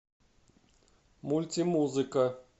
мультимузыка